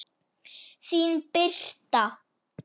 Þín Birta.